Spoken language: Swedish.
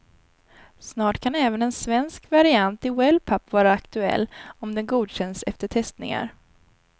Snart kan även en svensk variant i wellpapp vara aktuell, om den godkänns efter testningar.